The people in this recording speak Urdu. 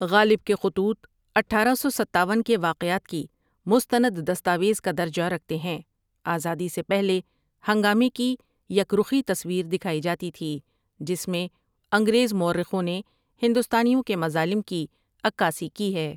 غالب کے خطوط اٹھارہ سو ستاون کے واقعات کی مستند دستاویز کا درجہ رکھتے ہیں آزادی سے پہلے ہنگامے کی یک رخی تصویر دکھائی جاتی تھی جس میں انگریز مورخوں نے ہندوستانیوں کے مظالم کی عکاسی کی ہے۔